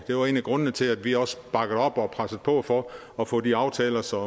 det var en af grundene til at vi også bakkede op og pressede på for at få de aftaler som